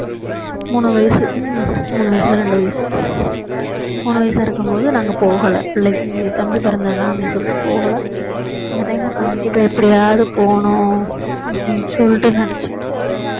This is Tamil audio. மூணு வயசு ஹம் மூணு வயசு இல்ல இரண்டு வயசு மூணு வயசா இருக்கும் போது நாங்க போகல பிள்ளைக்கு தம்பி பிறந்தானா அப்படின்னு சொல்லிட்டு போகல இந்த time கண்டிப்பா எப்படியாவது போகணும் அப்படின்னு சொல்லிட்டு நினைச்சிட்டு இருக்கேன்